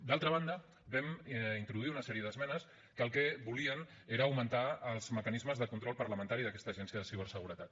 d’altra banda vam introduir una sèrie d’esmenes que el que volien era augmentar els mecanismes de control parlamentari d’aquesta agència de ciberseguretat